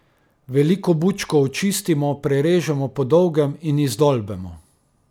Veliko bučko očistimo, prerežemo po dolgem in izdolbemo.